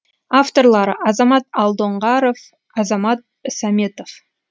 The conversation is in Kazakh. авторлары азамат алдоңғаров азамат сәметов